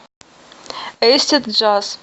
эйсид джаз